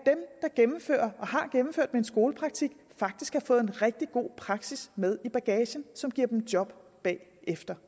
gennemfører og har gennemført uddannelsen med skolepraktik faktisk har fået en rigtig god praksis med i bagagen som giver dem job bagefter